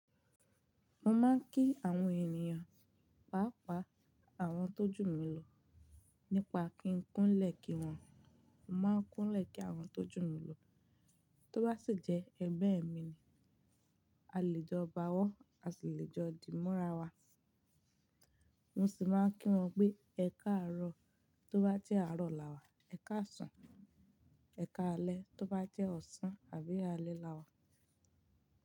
Mo máa ń kí àwọn ènìyàn, pàápàá àwọn tó jù mí lọ, nípa kí n kúnlẹ̀ kí wọ́n, mo máa ń kúnlẹ̀ kí àwọn tó jù mí lọ, tó bá sì jẹ́ ẹgbẹ́ mi ni, àlejò bá wọ́n, àṣilejọ̀ dì mọ́ra wa. Mo sì máa ń kí wọn pé "Ẹkáàrọ̀" tó bá jẹ́ àárọ̀ làwà, "Ẹkáàsùn", "Ẹkáalẹ́" tó bá jẹ́ ọ̀sán àbí alẹ́ làwà.